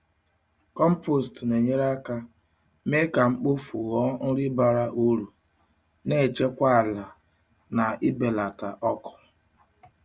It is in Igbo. Compost na-enyere aka mee ka mkpofu ghọọ nri bara uru, na-echekwa ala na ibelata ọkụ.